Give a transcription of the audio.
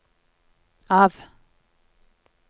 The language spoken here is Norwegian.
av